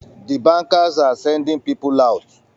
The bankers are sending people out